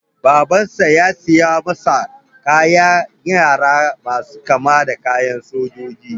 Babansa ya siyo masa kayan yara masu kama da kayan sojoji.